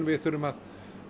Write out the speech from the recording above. við þurfum að